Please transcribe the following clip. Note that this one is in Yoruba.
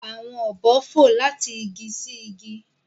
Awọn obo fo lati igi si igi.